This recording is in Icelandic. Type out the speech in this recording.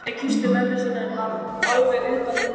Lalli kyssti mömmu sína en var alveg utan við sig.